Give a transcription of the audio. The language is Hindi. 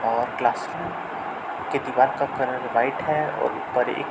और क्लासरूम की दीवार का कलर व्हाइट है और ऊपर एक --